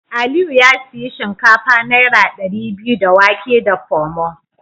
Aliyu ya sayi shinkafa naira dari biyu da wake da Pomo.